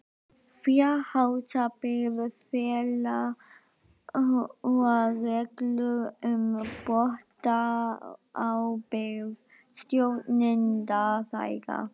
Fjárhagsábyrgð félaga og reglur um bótaábyrgð stjórnenda þeirra.